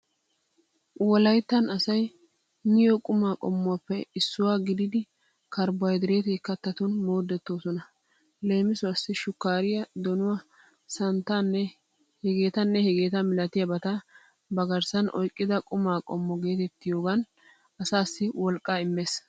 Wolayttan asay miyo qumaa qommuwaappe issuwa gididi karbohaydrete kattatun moodettoosona. Leemisuwaassi shukkaariyaa, donuwaa santtaanne hegeetanne hegeeta malatiyabata ba garssan oyqqida quma qommo geetettiyogan asaassi wolqqaa immees.